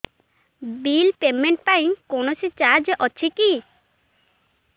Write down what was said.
bill payment ପାଇଁ କୌଣସି charge ଅଛି କି